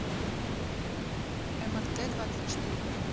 эмэртэдвадцатьчетыре